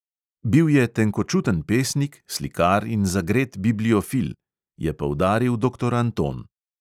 "Bil je tenkočuten pesnik, slikar in zagret bibliofil," je poudaril doktor anton.